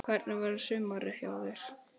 Hvernig verður sumarið hjá þér?